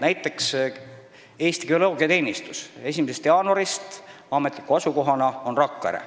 Näiteks on Eesti Geoloogiateenistuse ametlik asukoht 1. jaanuarist Rakvere.